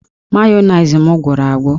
Mayonezi m gwụrụ agwụ